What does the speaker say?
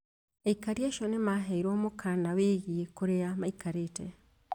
Aikari acio nĩ maaheirũo mũkaana wĩgiĩ kũrĩa maikarĩte